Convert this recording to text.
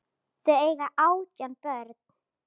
Þau eiga átján börn.